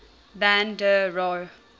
van der rohe